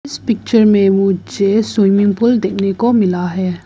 इस पिक्चर में मुझे स्विमिंग पूल देखने को मिला है।